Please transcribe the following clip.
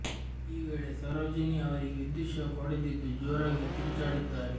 ಈ ವೇಳೆ ಸರೋಜಿನಿ ಅವರಿಗೆ ವಿದ್ಯುತ್ ಶಾಕ್ ಹೊಡೆದಿದ್ದು ಜೋರಾಗಿ ಕಿರುಚಾಡಿದ್ದಾರೆ